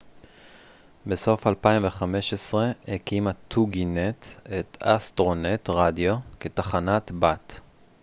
בסוף 2015 הקימה טוגי-נט את אסטרו-נט רדיו כתחנת בת